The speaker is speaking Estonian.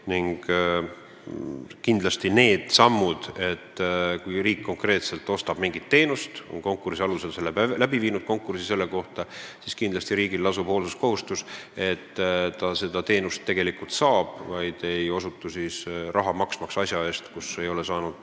Kui riik ostab mingit konkreetset teenust ja on eelnevalt korraldanud konkursi, siis lasub riigil kindlasti ka hoolsuskohustus, st ta peab kontrollima, et ta seda teenust tegelikult saab ega maksa asja eest, mida ta ei ole saanud.